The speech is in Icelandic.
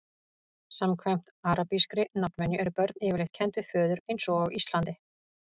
samkvæmt arabískri nafnvenju eru börn yfirleitt kennd við föður eins og á íslandi